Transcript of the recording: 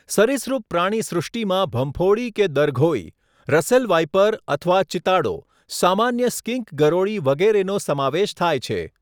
સરિસૃપ પ્રાણીસૃષ્ટિમાં ભંફોડી કે દરઘોઈ, રસેલ વાઈપર અથવા ચિતાડો, સામાન્ય સ્કિંક ગરોળી વગેરેનો સમાવેશ થાય છે.